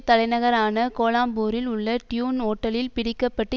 தலைநகரான கோலாலம்பூரில் உள்ள டியூன் ஹோட்டலில் பிடிக்க பட்டு